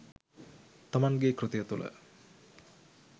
තමන්ගේ කෘතිය තුළ